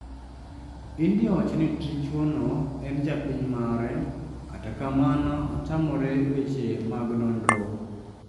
India owacho ni dichuo no en japiny mare kata kamano otamore weche mag nonro